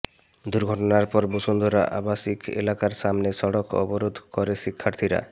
দুর্ঘটনার পর বসুন্ধরা আবাসিক এলাকার সামনে সড়ক অবরোধ করে শিক্ষার্থীরা